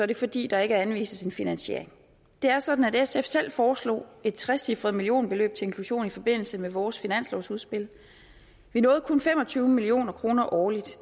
det fordi der ikke anvises finansiering det er sådan at sf selv foreslog et trecifret millionbeløb til inklusion i forbindelse med vores finanslovsudspil vi nåede kun fem og tyve million kroner årligt